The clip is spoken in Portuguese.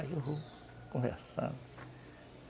Aí eu vou conversando.